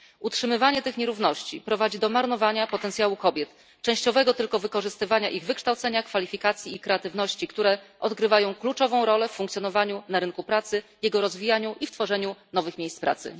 Utrzymywanie tych nierówności prowadzi do marnowania potencjału kobiet, częściowego tylko wykorzystywania ich wykształcenia, kwalifikacji i kreatywności, które odgrywają kluczową rolę w funkcjonowaniu na rynku pracy, jego rozwijaniu i w tworzeniu nowych miejsc pracy.